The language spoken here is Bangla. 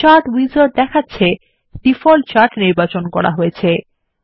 চার্ট উইজার্ডদেখাচ্ছে যে ডিফল্ট চার্ট নির্বাচন করা হয়েছে